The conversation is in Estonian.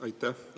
Aitäh!